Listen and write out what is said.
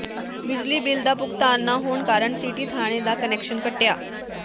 ਬਿਜਲੀ ਬਿੱਲ ਦਾ ਭੁਗਤਾਨ ਨਾ ਹੋਣ ਕਾਰਨ ਸਿਟੀ ਥਾਣੇ ਦਾ ਕੁਨੈਕਸ਼ਨ ਕੱਟਿਆ